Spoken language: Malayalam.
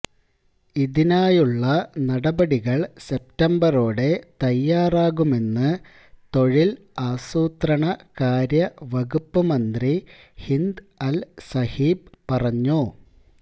ഇതിനായുള്ള നടപടികള് സെപ്തംബറോടെ തയാറാകുമെന്ന് തൊഴില് ആസൂത്രണകാര്യ വകുപ്പ് മന്ത്രി ഹിന്ദ് അല് സബീഹ് പറഞ്ഞു